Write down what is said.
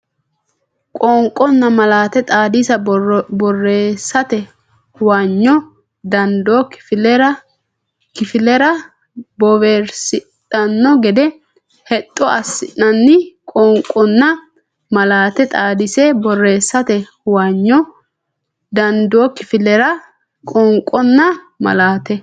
Qoonqonna malaate xaadise borreessate huwanyo dandoo kifillara bowirsidhino gede hexxo assinanni Qoonqonna malaate xaadise borreessate huwanyo dandoo kifillara Qoonqonna malaate.